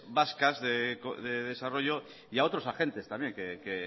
vascas de desarrollo y a otros agentes también que